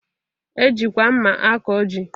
E jikwa mma akọ ji